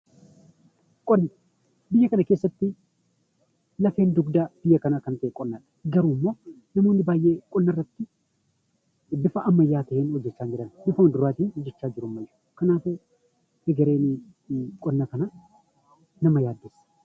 Qonni biyya kana keessatti lafee dugdaa biyya kanaa kan ta'e qonnadha. Garuu immoo namoonni baay'een qonna irratti bifa ammayyaa ta'een hojjataa hin jiran. Kan fuulduraatiif hojjachaa jiru malee. Kanaafuu egereen qonna kanaa nama yaaddessa.